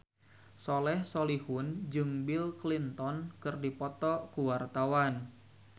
Soleh Solihun jeung Bill Clinton keur dipoto ku wartawan